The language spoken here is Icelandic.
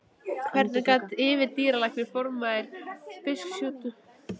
Hvernig gat yfirdýralæknir, formaður Fisksjúkdómanefndar, verið svona ósamkvæmur sjálfum sér?